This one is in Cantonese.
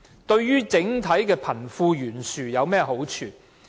對貧富懸殊有甚麼好處？